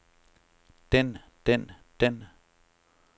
den den den